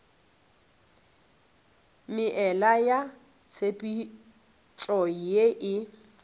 meela ya tshepetšo ye e